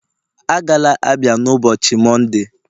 Agala Abia n'ụbọchị Mọnde!.